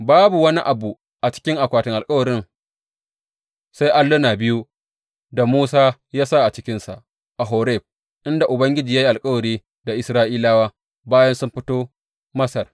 Babu wani abu a cikin akwatin alkawarin sai alluna biyu da Musa ya sa a cikinsa a Horeb, inda Ubangiji ya yi alkawari da Isra’ilawa bayan sun fito Masar.